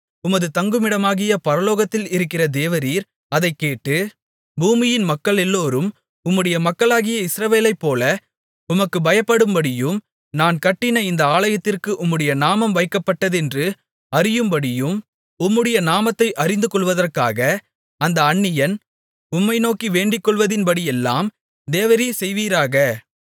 உமது தங்குமிடமாகிய பரலோகத்தில் இருக்கிற தேவரீர் அதைக் கேட்டு பூமியின் மக்களெல்லோரும் உம்முடைய மக்களாகிய இஸ்ரவேலைப்போல உமக்குப் பயப்படும்படியும் நான் கட்டின இந்த ஆலயத்திற்கு உம்முடைய நாமம் வைக்கப்பட்டதென்று அறியும்படியும் உம்முடைய நாமத்தை அறிந்துகொள்வதற்காக அந்த அந்நியன் உம்மை நோக்கி வேண்டிக்கொள்வதின்படியெல்லாம் தேவரீர் செய்வீராக